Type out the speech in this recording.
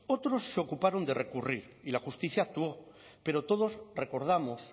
otros se ocuparon de recurrir y la justicia actuó pero todos recordamos